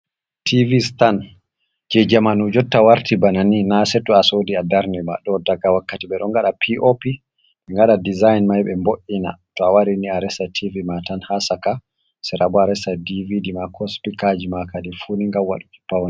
Tv’ stan je jamanu jotta warti banani na sei to a sodi a darne ba, ɗo daga wakkati be don gada pop engaɗa dezign mai ɓe mbo’’ina to a warini a resa tv ma tan hasaka serabo a resa dvd ma ko spikaji ma kadi funi gam waɗuki pawne.